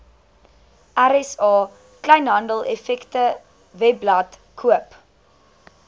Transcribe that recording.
rsa kleinhandeleffektewebblad koop